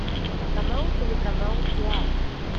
канал телеканал театр